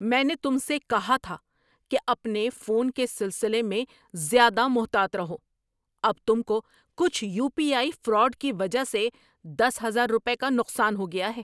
میں نے تم سے کہا تھا کہ اپنے فون کے سلسلے میں زیادہ محتاط رہو۔ اب تم کو کچھ یو پی آئی فراڈ کی وجہ سے دس ہزار روپے کا نقصان ہو گیا ہے۔